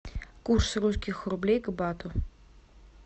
курс русских рублей к бату